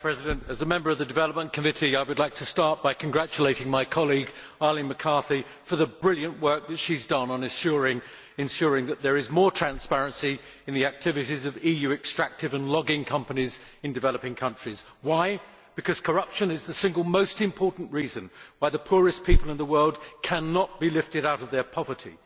Mr President, as a member of the Committee on Development, I would like to start by congratulating my colleague, Arlene McCarthy, for the brilliant work that she has done on ensuring that there is more transparency in the activities of EU extractive and logging companies in developing countries. Why? Because corruption is the single most important reason why the poorest people in the world cannot be lifted out of their poverty.